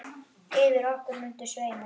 Yfir okkur muntu sveima.